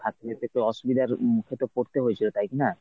থাকতে অসুবিধার উম মুখে পরতে হয়েছিল তাই কী না?